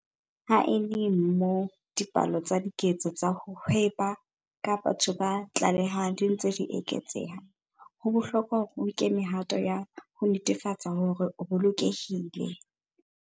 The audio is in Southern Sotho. Ha e le moo dipalo tsa diketso tsa ho hweba ka batho tse tlalehwang di ntse di eketseha, ho bohlokwa hore o nke mehato ya ho netefatsa hore o bolokehile.